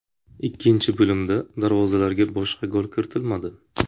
Ikkinchi bo‘limda darvozalarga boshqa gol kiritilmadi.